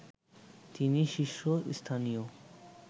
তিনি শীর্ষস্থানীয়